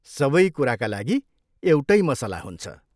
सबै कुराका लागि एउटै मसला हुन्छ।